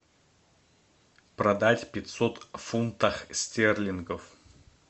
продать пятьсот фунтах стерлингов